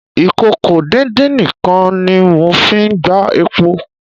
ìkòkò-díndín-nǹkan ni mo fi gbá epo.